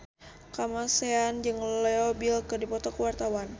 Kamasean jeung Leo Bill keur dipoto ku wartawan